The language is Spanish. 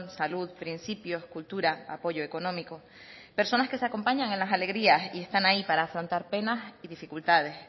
salud principios cultura apoyo económico personas que se acompañan en las alegrías y están ahí para afrontar penas y dificultades